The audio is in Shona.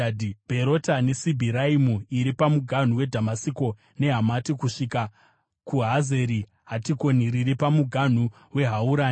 Bherota neSibhiraimu (iri pamuganhu weDhamasiko neHamati), kusvika kuHazeri Hatikoni riri pamuganhu weHaurani.